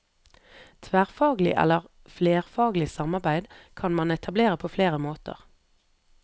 Tverrfaglig eller flerfaglig samarbeid kan man etablere på flere måter.